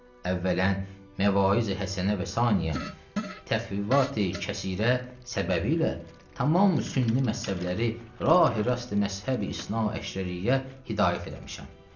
Əvvələn məvaiz-i həsənə və saniyən təxvivat-ı xəsirə səbəbilə tamam sünni məzhəbləri rah-i rast məzhəbi-isnaəşəriyyə hidayət eləmişəm.